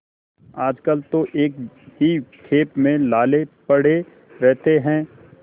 आजकल तो एक ही खेप में लाले पड़े रहते हैं